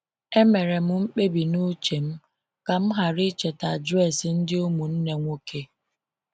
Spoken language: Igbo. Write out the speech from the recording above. E mere m mkpebi n’uche m m ka m ghara icheta adresị ndị ụmụnne nwoke.